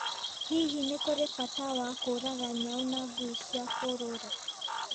Hihi nĩ kũrĩ bata wa kũũraga nyau na ngui cia kũrũũra?